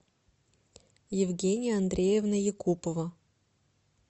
евгения андреевна якупова